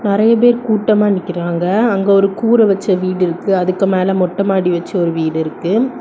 நெறைய பேர் கூட்டமா நிக்கிறாங்க. அங்க ஒரு கூர வெச்ச வீடு இருக்கு. அதுக்கு மேல மொட்ட மாடி வெச்ச ஒரு வீடு இருக்கு.